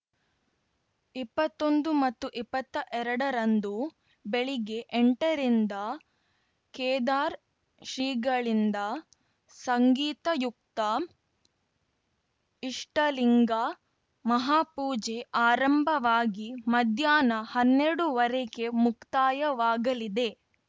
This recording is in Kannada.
ಇಪ್ಪತ್ತೊಂದು ಮತ್ತು ಇಪ್ಪತ್ತ್ ಎರಡರಂದು ಬೆಳಿಗ್ಗೆ ಎಂಟರಿಂದ ಕೇದಾರ್ ಶ್ರೀಗಳಿಂದ ಸಂಗೀತಯುಕ್ತ ಇಷ್ಟಲಿಂಗ ಮಹಾಪೂಜೆ ಆರಂಭವಾಗಿ ಮಧ್ಯಾಹ್ನ ಹನ್ನೆರಡುವರೆಗೆ ಮುಕ್ತಾಯವಾಗಲಿದೆ